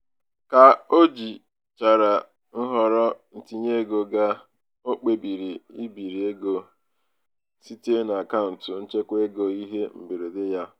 ka o jichara nhọrọ ntinyeego ga o kpebiri ibiri ego kpebiri ibiri ego site n'akaụntụ nchekwaego ihe mberede ya.